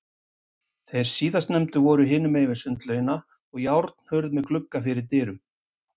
Þeir síðarnefndu voru hinum megin við sundlaugina, og járnhurð með glugga fyrir dyrum.